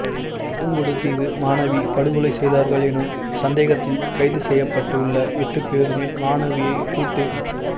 புங்குடுதீவு மாணவி படுகொலை செய்தார்கள் எனும் சந்தேகத்தில் கைது செய்யப்பட்டு உள்ள எட்டு பேருமே மாணவியை கூட்டு